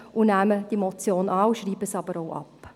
Wir nehmen die Motion an und schreiben sie aber auch ab.